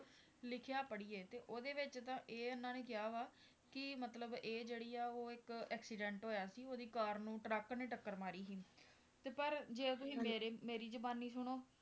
ਲਿਖਿਆ ਪੜ੍ਹੀਏ ਤੇ ਉਹਦੇ ਵਿੱਚ ਤਾਂ ਇਹ ਇਹਨਾਂ ਨੇ ਕਿਹਾ ਵਾ ਕਿ ਮਤਲਬ ਇਹ ਜਿਹੜਾ ਆ ਉਹ ਇੱਕ accident ਹੋਇਆ ਸੀ ਕਾਰ ਨੂੰ ਟਰੱਕ ਨੇ ਟੱਕਰ ਮਾਰੀ ਸੀ, ਤੇ ਪਰ ਜੇ ਤੁਸੀਂ ਮੇਰੇ ਮੇਰੀ ਜ਼ੁਬਾਨੀ ਸੁਣੋ,